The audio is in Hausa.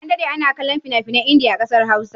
An daɗe ana kallon fina-finan Indiya a ƙasar Hausa